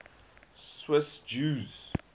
swiss jews